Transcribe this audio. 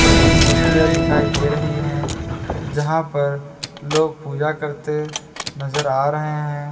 वैसी मूर्तियां दिखाई दे रही हैं जहां पर लोग पूजा करते नजर आ रहे हैं।